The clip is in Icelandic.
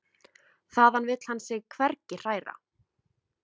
Þaðan vill hann sig hvergi hræra.